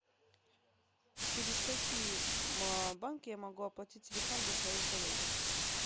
через какие банки я могу оплатить телефон для своей коллеги